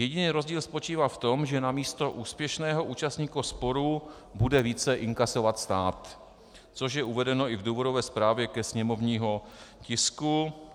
Jediný rozdíl spočívá v tom, že namísto úspěšného účastníka sporu bude více inkasovat stát, což je uvedeno i v důvodové správě ke sněmovnímu tisku.